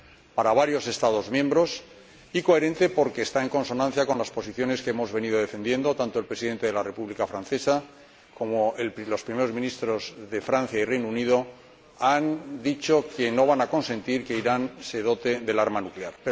para varios Estados miembros, y coherente, porque está en consonancia con las posiciones que hemos venido defendiendo. Tanto el Presidente de la República Francesa como los Primeros Ministros de Francia y del Reino Unido han dicho que no van a consentir que Irán se dote del arma nuclear.